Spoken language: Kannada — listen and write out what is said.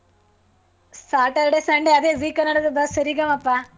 Saturday, Sunday ಅದೇ zee ಕನ್ನಡದ ಸರಿಗಮಪಾ.